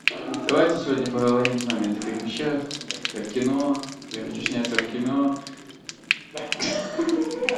давайте сегодня поговорим с вами о таких вещах как кино я хочу сняться в кино